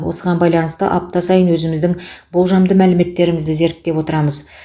осыған байланысты апта сайын өзіміздің болжамды мәліметтерімізді зерттеп отырмыз